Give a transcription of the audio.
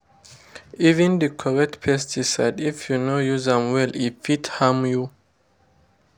even the correct pesticide if you no use am well e fit harm you.